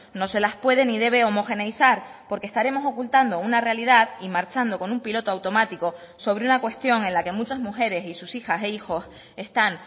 no se las puede ni debe homogeneizar porque estaremos ocultando una realidad y marchando con un piloto automático sobre una cuestión en la que muchas mujeres y sus hijas e hijos están